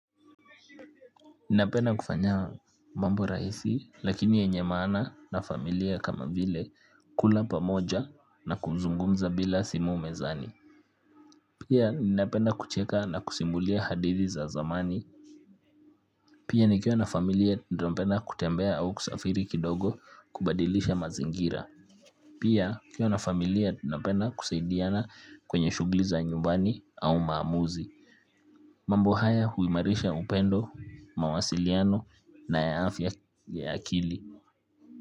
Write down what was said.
Ninapenda kufanya mambo rahisi, lakini yenye maana na familia kama vile kula pamoja na kuzungumza bila simu mezani. Pia ninapenda kucheka na kusimulia hadithi za zamani. Pia nikiwa na familia tunapenda kutembea au kusafiri kidogo kubadilisha mazingira. Pia nikiwa na familia ninapenda kusaidiana kwenye shughuli za nyumbani au maamuzi. Mambo haya huimarisha upendo, mawasiliano na afya ya akili.